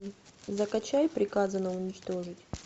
закачай приказано уничтожить